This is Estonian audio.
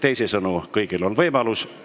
Teisisõnu, kõigil on võimalus.